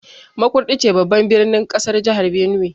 Makurdi ce babban birnin kasar Jihar Benue.